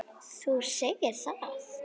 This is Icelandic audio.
Þú gerðir það.